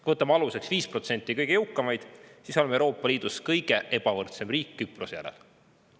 Kui võtame aluseks 5% kõige jõukamaid, siis oleme Euroopa Liidus kõige ebavõrdsem riik Küprose järel.